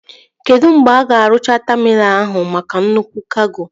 Kedụ mgbe a ga-arụcha taminal ahụ maka nnukwu kago?